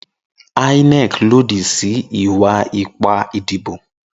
Inec lodi si iwa-ipa idibo